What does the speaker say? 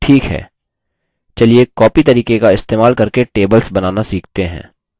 ठीक है copy तरीके का इस्तेमाल करके tables बनाना सीखते हैं